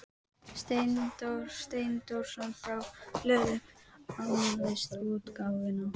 Ítalíu til Parísar og vill allt fyrir hana gera.